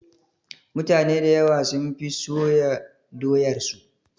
Mutane dayawa sun fi soya doyar su